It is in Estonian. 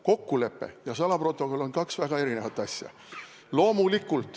Kokkulepe ja salaprotokoll on kaks väga erinevat asja.